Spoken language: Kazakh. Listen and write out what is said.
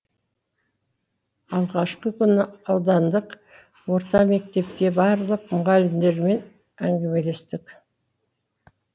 алғашқы күнді аудандық орта мектепке барлық мұғалімдерімен әңгімелестік